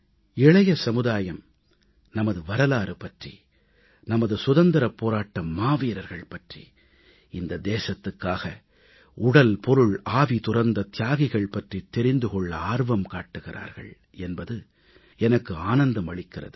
இளைய சமுதாயம் நமது வரலாறு பற்றி நமது சுதந்திரப் போராட்ட மாவீரர்கள் பற்றி இந்த தேசத்துக்காக உடல் பொருள் ஆவி துறந்த தியாகிகள் பற்றித் தெரிந்து கொள்ள ஆர்வம் காட்டுகிறார்கள் என்பது எனக்கு ஆனந்தம் அளிக்கிறது